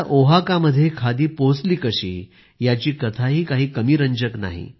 ओहाकामध्ये खादी पोहचली कशी याची कथाही काही कमी रंजक नाही